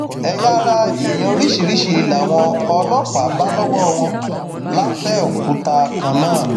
ẹyà ara èèyàn oríṣiríṣiì làwọn ọlọpàá bá lọwọ wọn lápẹòkúta kan náà